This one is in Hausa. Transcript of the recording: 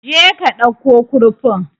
Je ka ɗauko kurfin